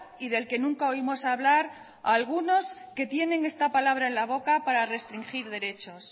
y del que nunca oímos hablar a algunos que tienen esta palabra en la boca para restringir derechos